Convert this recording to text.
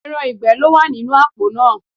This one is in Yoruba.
Ẹran ìgbẹ́ ló wà nínú àpò náà